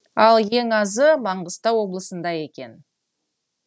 ал ең азы маңғыстау облысында екен